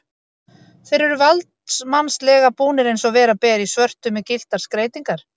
Þeir eru valdsmannslega búnir, eins og vera ber, í svörtu með gylltar skreytingar.